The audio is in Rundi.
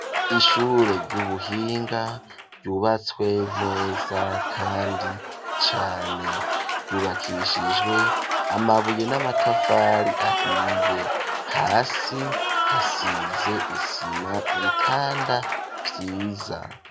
Ishure ry'ubuhinga ryubatswe neza kandi cane ,ryubakishijwe amabuye n'amatafari ahiye, hasi hasize isima, ibitanda vyiza.